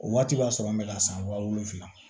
O waati b'a sɔrɔ an bɛ ka san wa wolonwula